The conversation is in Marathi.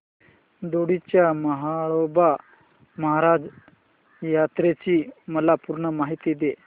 दोडी च्या म्हाळोबा महाराज यात्रेची मला पूर्ण माहिती दे